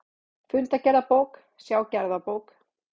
Fundagerðabók, sjá gerðabók